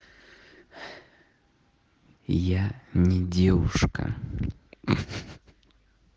я не девушка